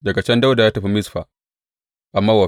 Daga can Dawuda ya tafi Mizfa a Mowab.